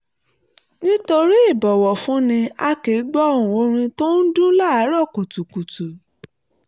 nítorí ìbọ̀wọ̀fúnni a kì í gbọ́ ohùn orin tó ń dún láàárọ̀ kùtùkùtù